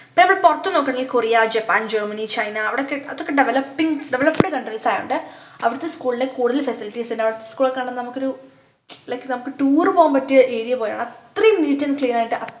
ഇപ്പോനമ്മൾ പൊറത്ത്നോക്കുകാണെങ്കിൽ Korea Japan Germany China അവിടൊക്കെ അത്രക്ക് developing developed countries ആയോണ്ട് അവിടത്തെ school ൽ കൂടുതൽ facilities ഉണ്ടാകും school ഒക്കെ കാണുമ്പോ നമ്മക്കൊരു like നമ്മക്ക് tour പോവാൻ പറ്റിയ area പോലെയാണ് അത്രയും neat and clean ആയിട്ട്